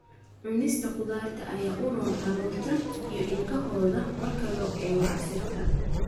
Cunista khudaarta ayaa u roon carruurta (iyo ilkahooda) marka loo eego casiirka.